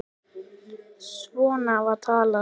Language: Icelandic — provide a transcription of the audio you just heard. Svona var talað.